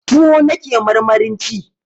Tuwo nake marmarin ci